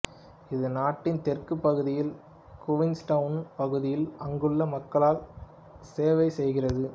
இது நாட்டின் தெற்குப் பகுதியில் குவீன்ஸ்டவுன் பகுதியில் அங்குள்ள மக்களுக்கு செவைசெய்கிறது